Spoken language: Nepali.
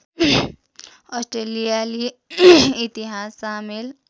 अस्ट्रेलियाली इतिहास सामेल